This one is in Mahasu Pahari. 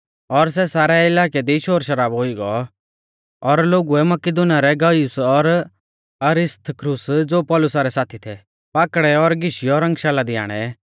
और सारै इलाकै दी शोरशराबौ हुई गौ और लोगुऐ मकिदुनीया रै गयुस और अरिस्तर्खुस ज़ो पौलुसा रै साथी थै पाकड़ै और घीशियौ रंगशाला दी आणै